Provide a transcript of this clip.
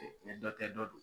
dɔ tɛ dɔ dɔn.